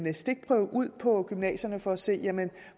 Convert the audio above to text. stikprøver ude på gymnasierne for at se